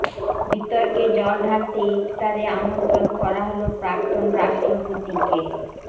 বিতর্কে জল ঢালতে ইফতারে আমন্ত্রণ করা হল প্রাক্তন রাষ্ট্রপতিকে